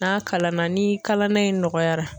N'a kalana ni kalada in nɔgɔyara